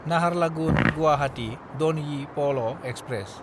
Naharlagun-Guwahati दनयि पल express